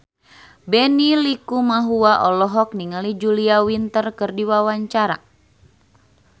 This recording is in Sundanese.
Benny Likumahua olohok ningali Julia Winter keur diwawancara